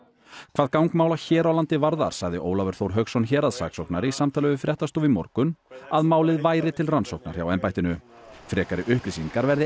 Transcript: hvað gang mála hér á landi varðar sagði Ólafur Þór Hauksson héraðssaksóknari í samtali við fréttastofu í morgun að málið væri til rannsóknar hjá embættinu frekari upplýsingar verði